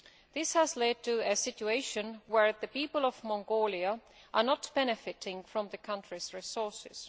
This has led to a situation where the people of Mongolia are not benefiting from the country's resources.